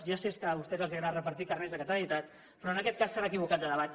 ja sé que a vostès els agrada repartir carnets de catalanitat però en aquest cas s’han equivocat de debat